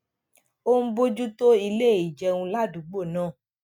ó ń bójú tó ilé ìjẹun ládùúgbò náà